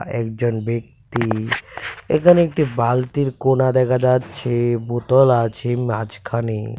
একজন ব্যক্তি এখানে একটি বালতির কোনা দেখা যাচ্ছে বোতল আছে মাঝখানে.